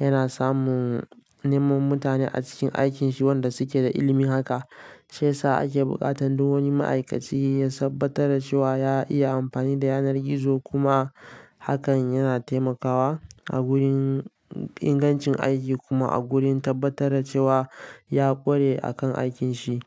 yana samun neman mutane a cikin aikin shi wanda suke da ilimin haka. Sai sa ake buƙatan duk wani ma'aikaci ya tabbatar da cewa ya iya amfani da yanar gizo kuma hakan yana taimakawa a gurin ingancin aiki kuma a gurin tabbatar da cewa ya ƙware a kan aikin shi.